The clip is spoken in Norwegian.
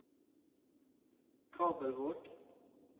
Kabelvåg